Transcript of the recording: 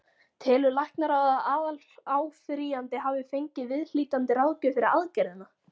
Telur læknaráð, að aðaláfrýjandi hafi fengið viðhlítandi ráðgjöf fyrir aðgerðina?